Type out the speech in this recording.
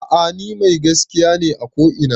A'a ni mai gaskiya ne a ko ina